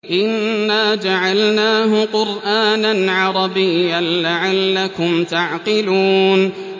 إِنَّا جَعَلْنَاهُ قُرْآنًا عَرَبِيًّا لَّعَلَّكُمْ تَعْقِلُونَ